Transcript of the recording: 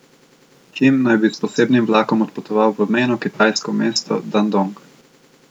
Kim naj bi s posebnim vlakom odpotoval v mejno kitajsko mesto Dandong.